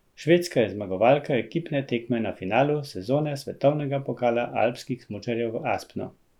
Švedska je zmagovalka ekipne tekma na finalu sezone svetovnega pokala alpskih smučarjev v Aspnu.